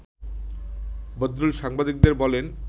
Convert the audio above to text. বদরুল সাংবাদিকদের বলেন